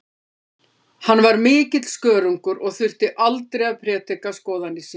Hann var mikill skörungur og þurfti aldrei að prédika skoðanir sínar.